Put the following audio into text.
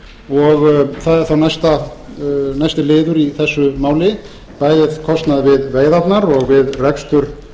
og það er þá næsti liður í þessu máli það er kostnaður við veiðarnar og við rekstur